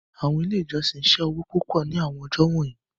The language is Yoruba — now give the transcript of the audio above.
Awọn ile ijọsin ṣe owo pupọ ni awọn ọjọ wọnyi